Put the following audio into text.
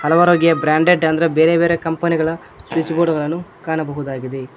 Branded ಅಂದ್ರೆ ಬೇರೆ ಬೇರೆ ಕಂಪನಿ ಗಳ ಸ್ವಿಚ್ ಬೋರ್ಡ್ ಗಳನ್ನು ಕಾಣಬಹುದಾಗಿದೆ.